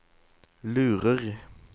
lurer